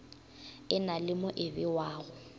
e na le mo ebewago